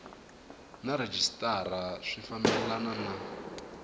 na rhejisitara swi fambelana na